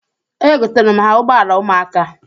Egotara m ha ụgbọala ụmụaka.